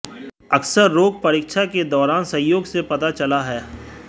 अक्सर रोग परीक्षा के दौरान संयोग से पता चला है